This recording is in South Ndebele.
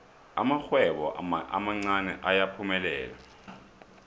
amarhwebo amancani ayaphumelela